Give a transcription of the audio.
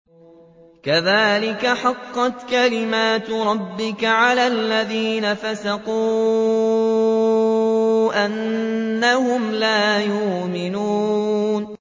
كَذَٰلِكَ حَقَّتْ كَلِمَتُ رَبِّكَ عَلَى الَّذِينَ فَسَقُوا أَنَّهُمْ لَا يُؤْمِنُونَ